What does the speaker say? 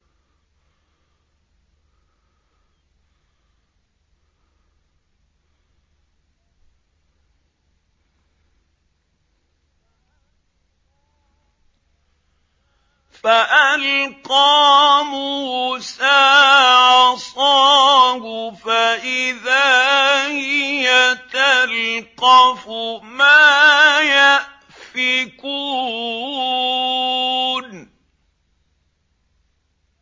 فَأَلْقَىٰ مُوسَىٰ عَصَاهُ فَإِذَا هِيَ تَلْقَفُ مَا يَأْفِكُونَ